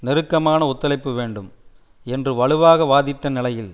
நெருக்கமான ஒத்துழைப்பு வேண்டும் என்று வலுவாக வாதிட்ட நிலையில்